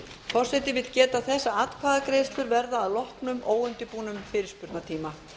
forseti vill geta þess að atkvæðagreiðslur verða að loknum óundirbúnum fyrirspurnatíma